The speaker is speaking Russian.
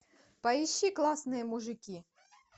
поищи классные мужики